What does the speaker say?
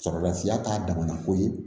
Sɔrɔlafiya k'a damana koyi